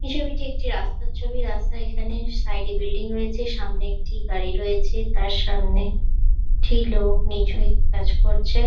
এই ছবিটি একটি রাস্তার ছবি রাস্তা এখানে সাইড -এ বিল্ডিং রয়েছে সামনে একটি গাড়ি রয়েছে তার সামনে একটি লোক নীচু হয়ে কাজ করছে।